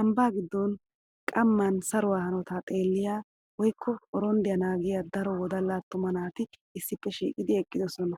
Ambbaa giddon qamman saruwaa hanotaa xeelliya woykko oronddaa naagiya daro wodalla attuma naati issippe shiiqidi eqqidosona.